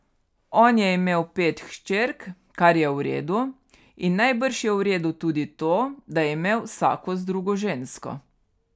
On je imel pet hčerk, kar je v redu, in najbrž je v redu tudi to, da je imel vsako z drugo žensko.